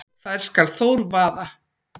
þær skal Þór vaða